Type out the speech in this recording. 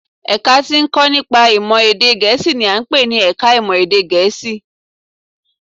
Ẹ̀ka tí ó ń kọ́ nípa èdè Gẹ̀ẹ́sì n i à ń pè ní ẹka ìmọ̀ èdè Gẹ̀ẹ́sì